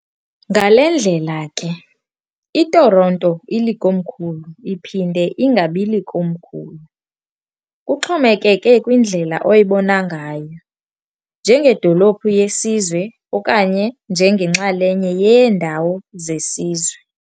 ngale ndlela ke, iToronto ilikomkhulu iphinde ingabilokomkhulu, kuxhomekeke kwindlela oyibona ngayo, njengedolophu yesizwe okanye njengenxalenye yeendawo zesizwe.